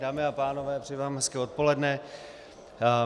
Dámy a pánové, přeji vám hezké odpoledne.